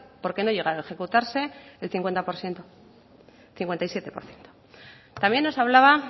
porque no llega a ejecutarse el cincuenta por ciento cincuenta y siete por ciento también nos hablaba